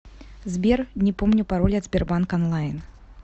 сбер не помню пароль от сбербанк онлайн